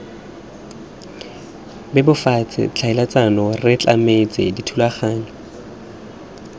bebofatse tlhaeletsano re tlametse dithulaganyo